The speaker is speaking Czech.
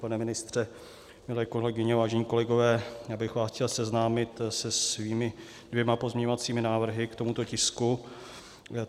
Pane ministře, milé kolegyně, vážení kolegové, já bych vás chtěl seznámit se svými dvěma pozměňovacími návrhy k tomuto tisku.